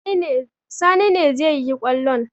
Sani ne zai yi kwallon.